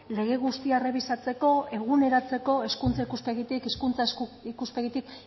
lege guztia errebisatzeko eguneratzeko hezkuntza ikuspegitik hizkuntza ikuspegitik